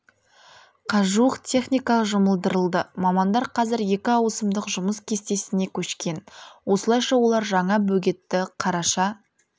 қажуық техника жұмылдырылды мамандар қазір екі ауысымдық жұмыс кестесіне көшкен осылайша олар жаңа бөгетті қараша